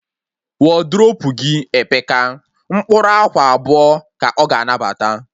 Wodrobu gị epeka, mkpụrụ akwa abụọ ka ọ ga anabata